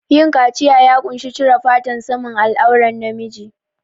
Yin kaciya ya ƙunshi cire fatan saman al'auran na miji